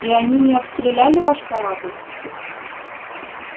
и они не обстреляли ваш корабль